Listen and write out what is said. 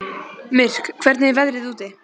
Myrk, hvernig er veðrið úti?